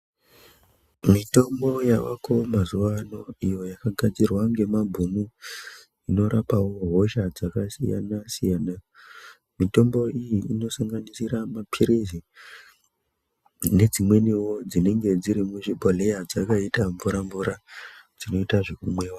Mitombo yaayo mazuwa anaya iyo yakagadzirwe ngemabhunu inorapa hosha dzakasiyana-siyana. Mitombo iyi inosanganisira maphirizi nedzimweniwo dzinenge dziri muzvibhodhleya dzakaita mvura-mvura dzinoita zvekumwiwa.